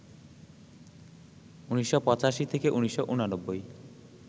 ১৯৮৫ থেকে ১৯৮৯